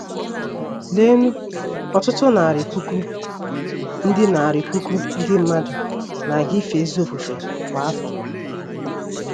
Leenụ, ọtụtụ narị puku ndị narị puku ndị mmadụ na-aga ife ezi ofufe kwa afọ.